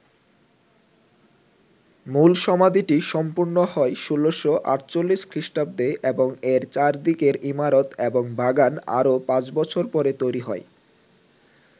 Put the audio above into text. মূল সমাধিটি সম্পূর্ণ হয় ১৬৪৮ খ্রিস্টাব্দে এবং এর চারদিকের ইমারত এবং বাগান আরও পাঁচ বছর পরে তৈরি হয়।